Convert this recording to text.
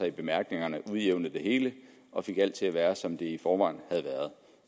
i bemærkningerne udjævnede det hele og fik alt til at være som det i forvejen havde været